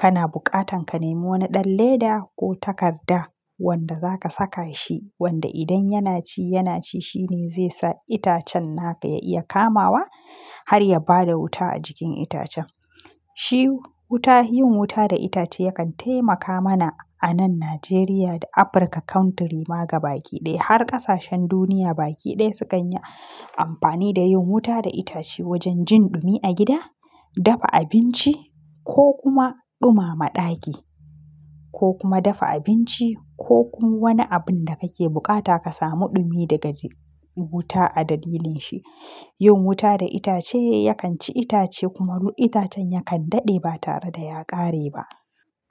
kana bukatan ka nemo wani ɗan leda ko takarda wanda zaka saka shi wanda idan yana ci, yana ci shine zai sa itacen naka ya iya kamawa har ya bada wuta a jikin itacen. Shi wuta, yin wuta da itace yakan taimaka mana a nan Najeriya da Afirka country ma gaba kiɗaya. Har ƙasashen duniya baki ɗaya sukan yi amfani da yin wuta da itace wajen jin ɗumi a gida, dafa abinci ko kuma ɗumama ɗaki ko kuma dafa abinci ko ku wani abun da kake bukata ka samu ɗumi daga wuta a dalilin shi. Yin wuta da itace yakan ci itace kuma itacen yakan daɗe ba tare da ya ƙare ba.